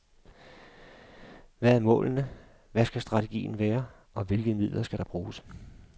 Hvad er målene, hvad skal strategien være, og hvilke midler skal vi bruge?